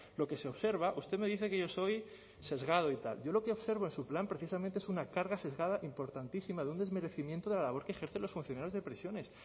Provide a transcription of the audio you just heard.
lo que se observa usted me dice que yo soy sesgado y tal yo lo que observo en su plan precisamente es una carga sesgada importantísima de un desmerecimiento de la labor que ejercen los funcionarios de prisiones